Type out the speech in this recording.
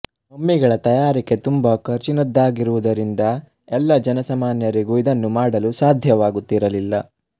ಮಮ್ಮಿಗಳ ತಯಾರಿಕೆ ತುಂಬ ಖರ್ಚಿನದ್ದಾಗಿರುವುದರಿಂದ ಎಲ್ಲ ಜನ ಸಾಮಾನ್ಯರಿಗೂ ಇದನ್ನು ಮಾಡಲು ಸಾಧ್ಯವಾಗುತ್ತಿರಲಿಲ್ಲ